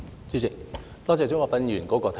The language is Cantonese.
主席，多謝鍾國斌議員的提議。